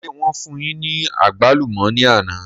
Ṣé wọn fún yín ní àgbálùmọ̀ ni àná?